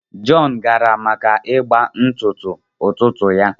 John gara maka ịgba ntụtụ ụtụtụ ya